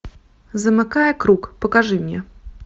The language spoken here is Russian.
замыкая круг покажи мне